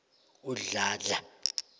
udladla